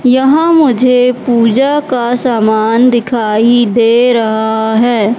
यहां मुझे पूजा का सामान दिखाई दे रहा है।